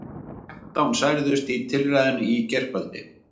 Þrettán særðust í tilræðinu í gærkvöldi